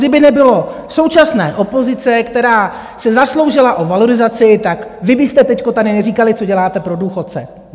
Kdyby nebylo současné opozice, která se zasloužila o valorizaci, tak vy byste teď tady neříkali, co děláte pro důchodce.